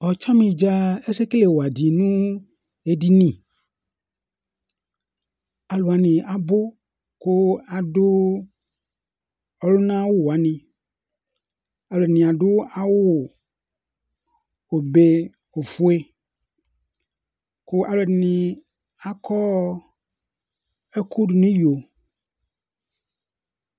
ɔtsani dza ɛsɛ kele wa di no edini alò wani abò kò adu ɔluna awu wani alò ɛdini adu awu obe ofue kò alò ɛdini akɔ ɛkò do n'iyo